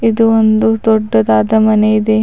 ಇದು ಒಂದು ದೊಡ್ಡದಾದ ಮನೆ ಇದೆ.